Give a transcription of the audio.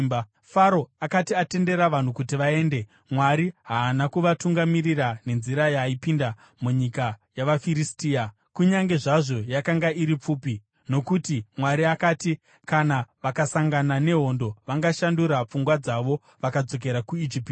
Faro akati atendera vanhu kuti vaende, Mwari haana kuvatungamirira nenzira yaipinda nomunyika yavaFiristia, kunyange zvazvo yakanga iri pfupi. Nokuti Mwari akati, “Kana vakasangana nehondo, vangashandura pfungwa dzavo vakadzokera kuIjipiti.”